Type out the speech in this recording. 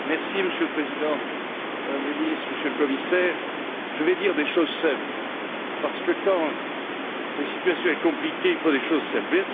Monsieur le Président, Madame la Ministre, Monsieur le Commissaire, je vais dire des choses simples, parce que quand la situation est compliquée, il faut des choses simples.